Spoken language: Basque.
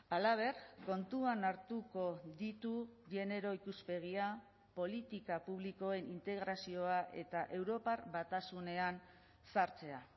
halaber kontuan hartuko ditu genero ikuspegia politika publikoen integrazioa eta europar batasunean sartzea